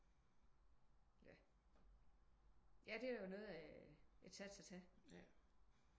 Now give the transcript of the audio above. Ja ja det er jo noget af det sats at tage